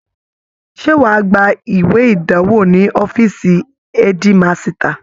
Ṣé wàá gba ìwé ìdánwò ní ọfíìsì ẹ́dímasità